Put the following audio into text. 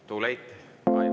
Too late.